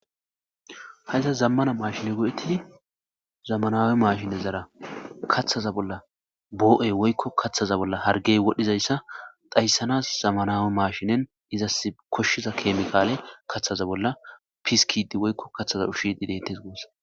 Hausa zamana mashine go'etidi zamanawi mashinezara kathaza bolla nu'ey woyko kathaza bolla hargey wodgizaysa dhaysanas zemenawi mashineni izasi koshiza kemikale kathaza bolla piskidi woyko kathaza ushidi detes guusa